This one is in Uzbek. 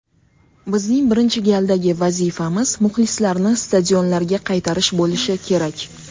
Bizning birinchi galdagi vazifamiz muxlislarni stadionlarga qaytarish bo‘lishi kerak.